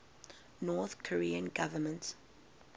north korean government